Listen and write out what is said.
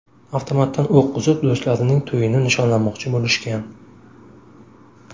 Avtomatdan o‘q uzib, do‘stlarining to‘yini nishonlamoqchi bo‘lishgan.